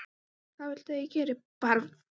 Hvað viltu að ég geri, barn?